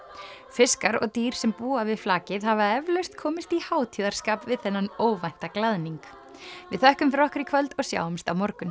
fiskar og dýr sem búa við flakið hafa eflaust komist í hátíðarskap við þennan óvænta glaðning við þökkum fyrir okkur í kvöld og sjáumst á morgun